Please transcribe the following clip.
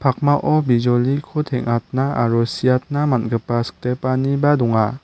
pakmao bijoliko teng·atna aro siatna man·gipa sikdepaniba donga.